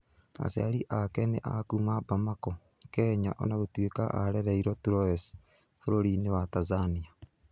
Aciari ake nĩ a kuuma Bamako, Kenya o na gũtuĩka aarereirwo Troyes bũrũri-inĩ wa Tanzania.